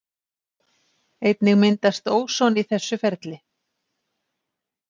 Einnig myndast óson í þessu ferli.